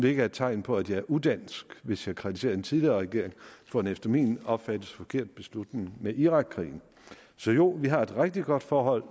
ikke er et tegn på at jeg er udansk hvis jeg kritiserer en tidligere regering for en efter min opfattelse forkert beslutning med irakkrigen så jo vi har et rigtig godt forhold